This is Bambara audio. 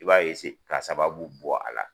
I b'a ka sababu bɔ a la.